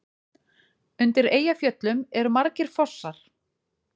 Undir Eyjafjöllum eru margir fossar.